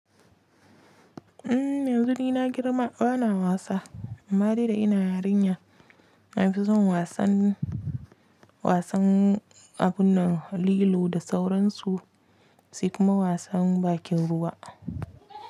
Umm yanzu ni na girma bana wasa, amma dai da ina yarinya nafi son wasan wasan abun nan, lilo da sauransu sai kuma wasan bakin ruwa.